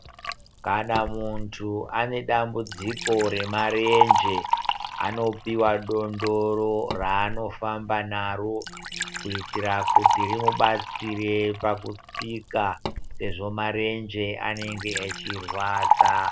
Kana muntu anedambudziko remarenje anopiwa dondoro raanofamba naro. Kuitira kuti rimubatsire pakutsika sezvo marenje anenge achirwadza.